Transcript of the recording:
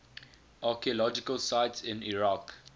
archaeological sites in iraq